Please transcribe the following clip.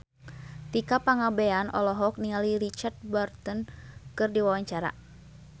Tika Pangabean olohok ningali Richard Burton keur diwawancara